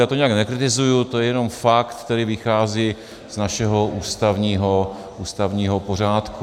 Já to nijak nekritizuju, to je jenom fakt, který vychází z našeho ústavního pořádku.